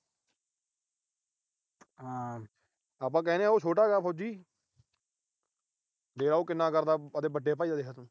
ਆਪਾ ਕਹਿਣੇ ਆ ਉਹ ਛੋਟਾ ਗਾ ਫੌਜੀ। ਦੇਖ ਲੈ ਉਹ ਕਿੰਨਾ ਕਰਦਾ ਆਪਣੇ ਵੱਡੇ ਭਾਈ ਦਾ ਦੇਖ।